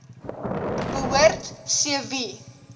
behoort c wie